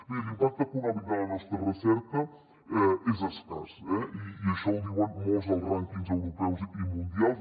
mirin l’impacte econòmic de la nostra recerca és escàs eh i això ho diuen molts dels rànquings europeus i mundials